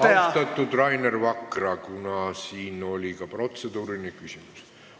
Austatud Rainer Vakra, siin oli ka protseduuriline küsimus.